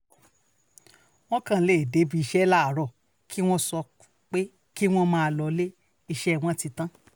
wọ́n kàn lè dé ibi iṣẹ́ láàárọ̀ kí wọ́n sọ pé kí wọ́n máa lọ sílé iṣẹ́ wọn ti tán